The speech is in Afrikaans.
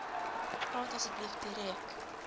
praat asseblief direk